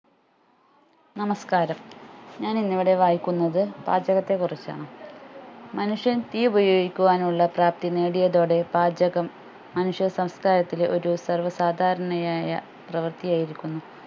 നമസ്ക്കാരം ഞാൻ ഇന്ന് ഇവിടെ വായിക്കുന്നത് പാചകത്തെ കുറിച്ചാണ് മനുഷ്യൻ തീ ഉപയോഗിക്കുവാനുള്ള പ്രാപ്തി നേടിയതോടെ പാചകം മനുഷ്യ സംസ്കാരത്തിലെ ഒരു സർവ്വ സാദാരണയായ പ്രവർത്തിയായിരിക്കുന്നു